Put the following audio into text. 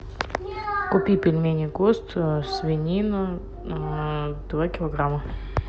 купи пельмени гост свинину два килограмма